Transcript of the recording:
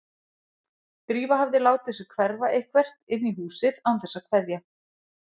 Drífa hafði látið sig hverfa eitthvert inn í húsið án þess að kveðja.